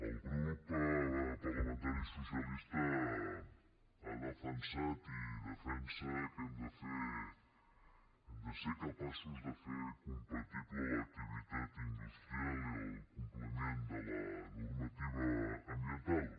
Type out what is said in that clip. el grup parlamentari socialista ha defensat i defensa que hem de ser capaços de fer compatible l’activitat industrial i el compliment de la normativa ambiental